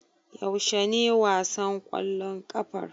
Yaushe ne wasan ƙwallon ƙafar?